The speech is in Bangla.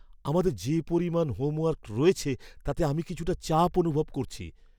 আমাদের যে পরিমাণ হোমওয়ার্ক রয়েছে তাতে আমি কিছুটা চাপ অনুভব করছি!